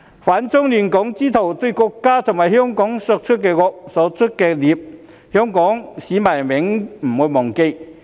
"反中亂港"之徒對國家和香港所作的惡、所作的孽，香港市民永遠不會忘記。